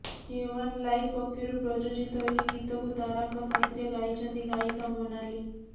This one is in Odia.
କେ ଓ୍ୱାନ୍ ଲାଇଭ ପକ୍ଷରୁ ପ୍ରଯୋଜିତ ଏହି ଗୀତକୁ ତାରାଙ୍କ ସାଥିରେ ଗାଇଛନ୍ତି ଗାୟିକା ମୋନାଲି